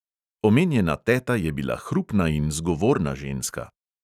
Omenjena teta je bila hrupna in zgovorna ženska.